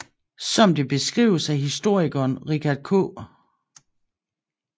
Som det beskrives af historikeren Richard K